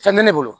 Fɛn tɛ ne bolo